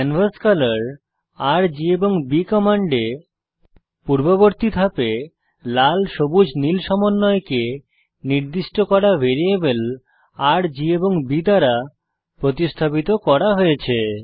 canvas color RG এবং B কমান্ডে পূর্ববর্তী ধাপে লাল সবুজ নীল সমন্বয়কে নির্দিষ্ট করা ভ্যারিয়েবল রের জি এবং B দ্বারা প্রতিস্থাপিত করা হয়েছে